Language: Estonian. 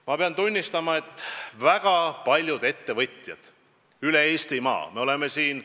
Ma pean tunnistama, et väga paljud ettevõtjad üle Eestimaa on meid kiitnud.